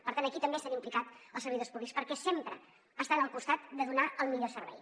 per tant aquí també s’han implicat els servidors públics perquè sempre estan al costat de donar el millor servei